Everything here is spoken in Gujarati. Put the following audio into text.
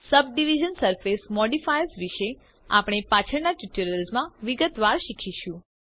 સબડિવિઝન સરફેસ મોડિફાયર્સ વિષે આપણે પાછળના ટ્યુટોરિયલ્સ માં વિગતવાર શીખીશું